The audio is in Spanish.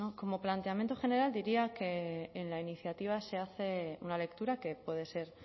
como planteamiento general diría que en la iniciativa se hace una lectura que puede ser